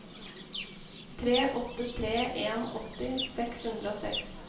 tre åtte tre en åtti seks hundre og seks